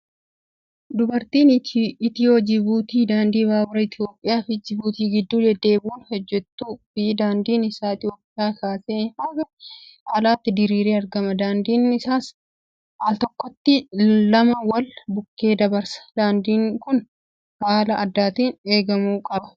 Baaburri Itiyoo-Jibuutii daandii baaburaa Itoophiyaa fi Jibuutii gidduu deddeebi'uun hojjatuu fi daandiin isaa Itoophiyaa kaasee haga alaatti diriiree argama. Daandiin isaas altokkotti lama wal bukkee dabarsa. Daandiin kun haala addaatiin eegamuu qba.